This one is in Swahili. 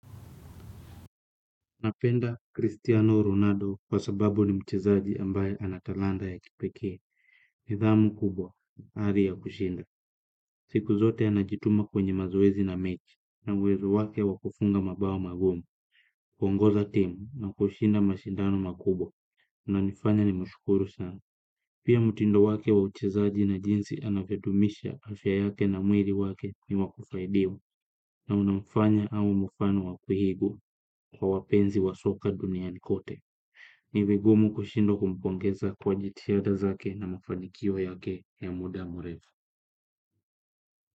Napenda Cristiano Ronaldo kwa sababu ni mchezaji ambaye ana talanta ya kipekee. Nidhamu kubwa, ari ya kushinda. Siku zote anajituma kwenye mazoezi na mechi, na uwezo wake wa kufunga mabao magumu. Huongoza timu na kushinda mashindano makubwa, nanifanya nimshukuru sana. Pia mtindo wake wa uchezaji na jinsi anavyodumisha afya yake na mwili wake ni wa kufaidiwa. Na unamfanya awe mfano wa kuigwa kwa wapenzi wa soka duniani kote. Ni vigumu kushindwa kumpongeza kwa jitihada zake na mafanikio yake ya muda mrefu.